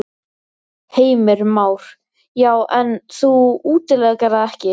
Heimir Már: Já, en þú útilokar það ekki?